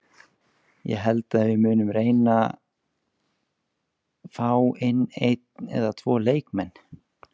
Ég held að við munum reyna fá inn einn eða tvo leikmenn.